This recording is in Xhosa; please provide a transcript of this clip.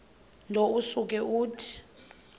nto usuke uthi